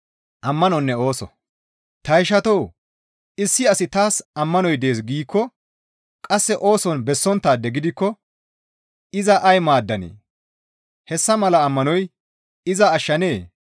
Ta ishatoo! Issi asi taas ammanoy dees giikko qasse ooson bessonttaade gidikko iza ay maaddanee? Hessa mala ammanoy iza ashshanee?